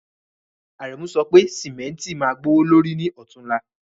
Àrẹ̀mú sọ pé ṣẹ́míntí má gbọwọ̀lọ̀rí ní òtúnla.